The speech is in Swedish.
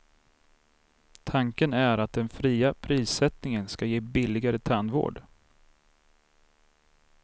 Tanken är att den fria prissättningen ska ge billigare tandvård.